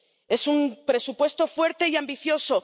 Es un presupuesto fuerte y ambicioso.